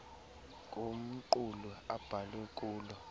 kumqulu abhalwe kulo